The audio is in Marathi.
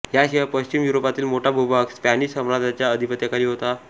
ह्या शिवाय पश्चिम युरोपातील मोठा भूभाग स्पॅनिश साम्राज्याच्या अधिपत्याखाली होता